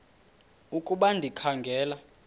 ukuba ndikha ngela